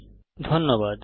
অংশগ্রহনের জন্য ধন্যবাদ